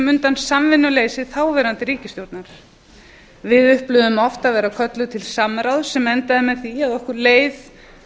undan samvinnuleysi þáverandi ríkisstjórnar við upplifðum oft að vera kölluð til samráðs sem endaði með því að okkur leið